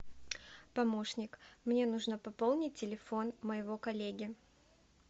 помощник мне нужно пополнить телефон моего коллеги